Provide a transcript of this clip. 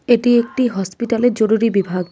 এটি একটি হসপিটালের জরুরি বিভাগ।